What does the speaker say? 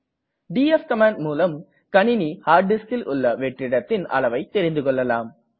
DF command மூலம் கணினி hard diskல் உள்ள வெற்றிடத்தின் அளவை தெரிந்துகொள்ளலாம்